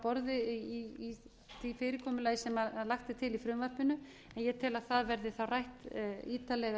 borði í því fyrirkomulagi sem lagt er til í frumvarpinu en ég tel að það verði þá rætt ítarlega